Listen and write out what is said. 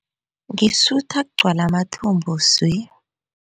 Ngisutha kugcwale amathumbu swi.